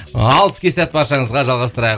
ал іске сәт баршаңызға жалғастырайық